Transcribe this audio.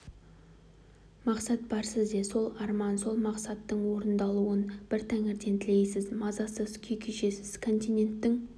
мақсат бар сізде сол арман сол мақсаттың орындалуын бір тәңірден тілейсіз мазасыз күй кешесіз континенттің